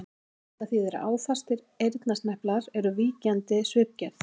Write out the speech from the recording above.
Þetta þýðir að áfastir eyrnasneplar eru víkjandi svipgerð.